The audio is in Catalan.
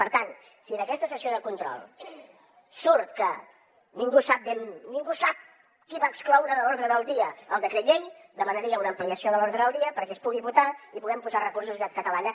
per tant si d’aquesta sessió de control surt que ningú sap ben bé qui va excloure de l’ordre del dia el decret llei demanaria una ampliació de l’ordre del dia perquè es pugui votar i puguem posar recursos a la societat catalana